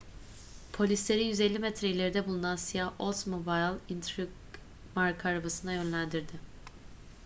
polisleri 150 metre ileride bulunan siyah oldsmobile intrigue marka arabasına yönlendirdi